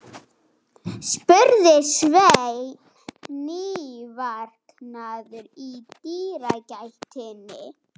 spurði Sveinn, nývaknaður í dyragættinni.